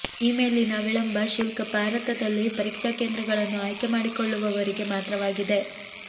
ಈ ಮೇಲಿನ ವಿಳಂಬ ಶುಲ್ಕ ಭಾರತದಲ್ಲಿ ಪರೀಕ್ಷಾ ಕೇಂದ್ರಗಳನ್ನು ಆಯ್ಕೆ ಮಾಡಿಕೊಳ್ಳುವವರಿಗೆ ಮಾತ್ರವಾಗಿದೆ